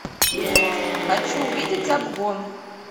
хочу увидеть обгон